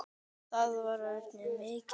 Það var og örn mikill.